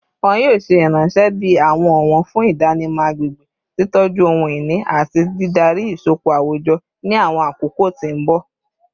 Wọn yoo ṣe iranṣẹ bi awọn ọwọn fun idanimọ agbegbe, titọju ohun-ini, ati didari isọpọ awujọ ni awọn akoko ti mbọ